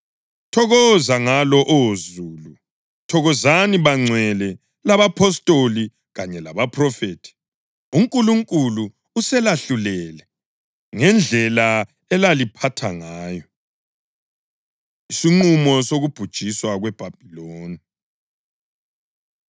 Thokoza ngalo, Oh Zulu! Thokozani bangcwele labapostoli kanye labaphrofethi! UNkulunkulu uselahlulele ngendlela elaliphatha ngayo.” Isinqumo Sokubhujiswa KweBhabhiloni